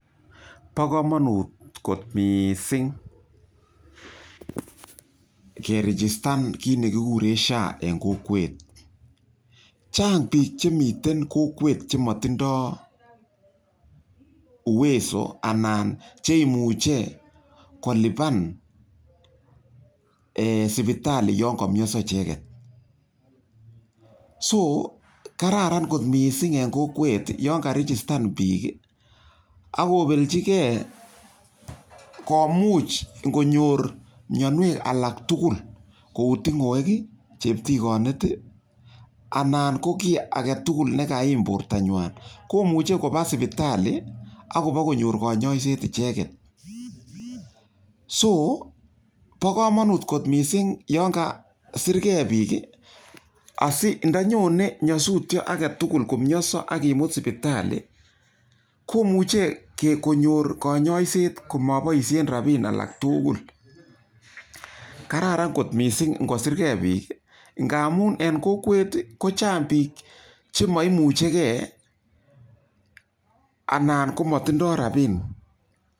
Pa kamanut kot missing' kerejistan kit ne kikuren SHA en kokwet. Chang' pik che miten kokwet che matindai uwezo anan che imuchi kolipan sipitali yan kamiansa icheget. So kararan kot missing' eng' kokwet yan karejistan pik ak kopelchi gei komuch ngonyor mianwek alak tugul kou tung'wek i, cheptikanit i anan ko ki age tugul ne kaiim portanywan. Ko muchi ko pa sipitali akopa konyor kanyaiset icheget. So pa kamamut kot missing' yan kasirgei pik asi nda nyone nyasutia age tugul, komiansa ak kimut sipitali ko muche konyor kanyaiset ko mapoishen rapiin alak tugul. Kararan kot missing' ngo sir gei pik ngamum en kokwet ko chang' pik che ma imuchigei anan ko matindai rapiin.